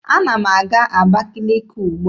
Ana m aga Abakaliki ugbua.